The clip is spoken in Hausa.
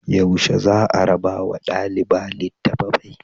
Yaushe za a rabawa ɗaliba litattafai?